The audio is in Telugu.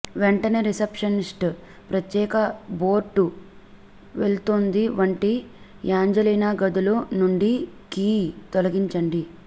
వెంటనే రిసెప్షనిస్ట్ ప్రత్యేక బోర్డు వెళ్తుంది వంటి యాంజెలీనా గదులు నుండి కీ తొలగించండి